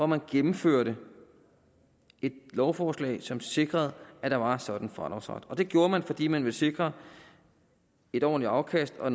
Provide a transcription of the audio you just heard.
man gennemførte et lovforslag som sikrede at der var en sådan fradragsret og det gjorde man fordi man ville sikre et ordentligt afkast og